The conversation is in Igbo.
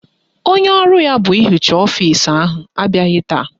Onye ọrụ ya bụ ịhicha ọfisi ahụ abịaghị taa.